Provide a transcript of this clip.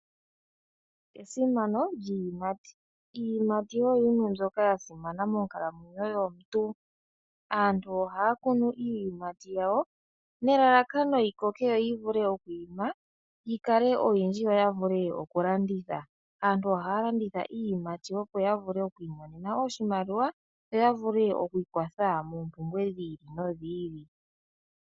Esimano lyiiyimati Iiyimati oyo yimwe mbyoka ya simana monkalamwenyo yomuntu. Aantu ohaya kunu iiyimati yawo nelalakano yi koke, yo yi vule oku ima, yi kale oyindji, yo ya vule oku landitha. Aantu ohaya landitha iiyimati opo ya vule oku imonena oshimaliwa, yo ya vule okwii kwatha moompumbwe dhi ili nodhi ili.